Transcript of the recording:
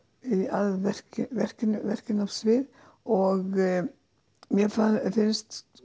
að verkinu verkinu verkinu á svið og mér finnst